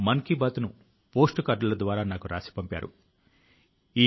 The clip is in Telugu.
ఈ ఏడాది ఆగస్టు లో ఆయన కు శౌర్యచక్ర ను ప్రదానం చేయడం జరిగింది